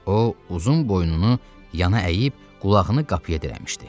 O uzun boynunu yana əyib, qulağını qapıya dirəmişdi.